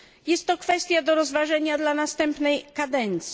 Jest to kwestia do rozważenia dla następnej kadencji.